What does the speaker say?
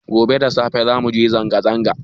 Gobe da safe za muje zanga zanga